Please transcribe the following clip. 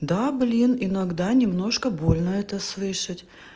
да блин иногда немножко больно это слышать